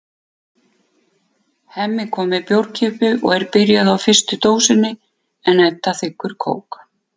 Hemmi kom með bjórkippu og er byrjaður á fyrstu dósinni en Edda þiggur kók.